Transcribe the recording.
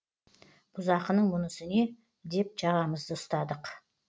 бұзақының мұнысы не деп жағамызды ұстадық